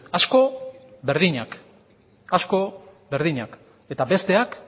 asko berdinak eta besteak